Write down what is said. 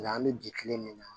Nka an bɛ bi kile min na